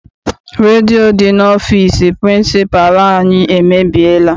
Redio dị n'ọfịịsi pịrịnsịpalụ anyị emebiela.